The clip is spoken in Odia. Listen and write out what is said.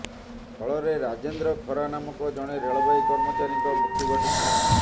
ଫଳରେ ରାଜେନ୍ଦ୍ର ଖରା ନାମକ ଜଣେ ରେଳବାଇ କର୍ମଚାରୀଙ୍କ ମୃତ୍ୟୁ ଘଟିଛି